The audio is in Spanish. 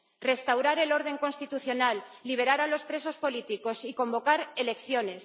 Restaurar el orden constitucional, liberar a los presos políticos y convocar elecciones.